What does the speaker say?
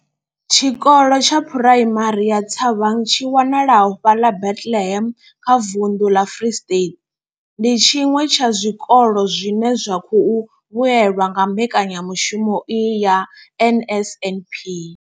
Tshikolo tsha Phuraimari ya Thabang tshi wanalaho fhaḽa Bethlehem kha vunḓu ḽa Free State, ndi tshiṅwe tsha zwikolo zwine zwa khou vhuelwa nga mbekanyamushumo iyi ya NSNP.